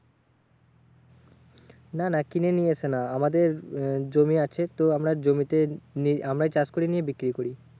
না না কিনে নিয়ে এসে না। আমাদের আহ জমি আছে, তো আমরা জমি তে নি আমরাই চাষ করি নিয়ে বিক্রি করি।